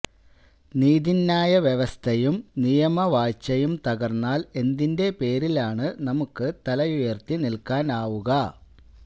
നീതിന്യായ വ്യവസ്ഥയും നിയമവാഴ്ചയും തകര്ന്നാല് എന്തിന്റെ പേരിലാണു നമുക്കു തലയുയര്ത്തി നില്ക്കാനാവുക